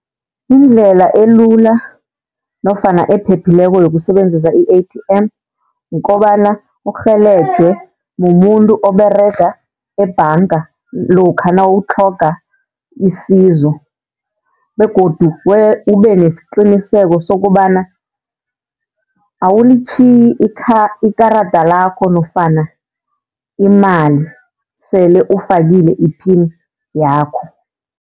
Indlela elula nofana ephephileko yokusebenzisa i-A_T_M, kukobana urhelejwe mumuntu oberega ebhanga lokha nawutlhoga isizo begodu ube nesiqiniseko sokobana awulitjhiyi ikarada lakho nofana imali sele ufakile i-pin yakho.